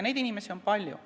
Neid inimesi on palju.